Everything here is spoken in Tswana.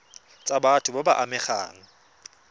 tsa batho ba ba amegang